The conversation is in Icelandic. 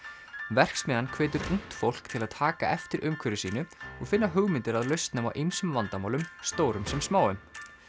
verksmiðjan hvetur ungt fólk til að taka eftir umhverfi sínu og finna hugmyndir að lausnum á ýmsum vandamálum stórum sem smáum